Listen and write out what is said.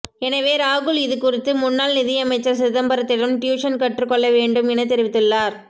எனவே ராகுல் இதுகுறித்து முன்னாள் நிதியமைச்சர் சிதம்பரத்திடம் டியூசன் கற்றுக்கொள்ள வேண்டும் என தெரிவித்துள்ளார்